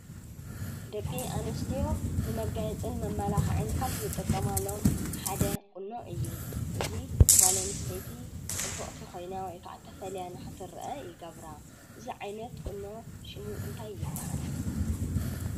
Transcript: ደቂ ኣንስትዮ ንመጋየፅን መመላክዕን ካብ ዝጥቀማሉ ሓደ ቁኖ እዩ። እዚ ጓል ኣንስተይቲ ፅብቅቲ ኮይና ወይ ከዓ ተፈልያ ንክትርአ ይገብራ። እዚ ዓይነት ቁኖ ሽሙ እንታይ ይበሃል ?